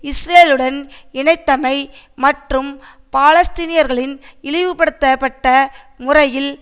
இஸ்ரேலுடன் இணைத்தமை மற்றும் பாலஸ்தீனியர்களின் இழிவுபடுத்தப்பட்ட முறையில்